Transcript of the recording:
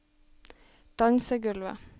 dansegulvet